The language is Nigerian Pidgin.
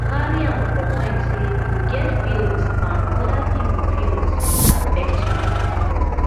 carry am for mind sey you get feelings and oda pipo feelings fit affect you